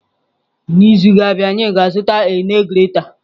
N'izu na-abịa anyị ga-azụta a nee grater.